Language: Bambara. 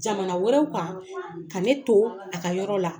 Jamana wɛrɛw kan, ka ne to a ka yɔrɔ la.